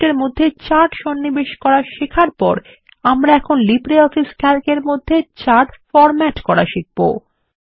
স্প্রেডশীটের মধ্যে চার্ট সন্নিবেশ করা শেখার পর আমরা এখন লিব্রিঅফিস ক্যালক এর মধ্যে চার্ট ফরম্যাট করা শিখবো